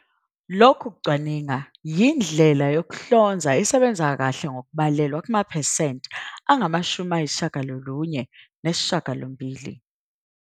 Lokhu kucwaninga yindlela yokuhlonza esebenza kahle ngokubalelwa kumaphesenti angama-98."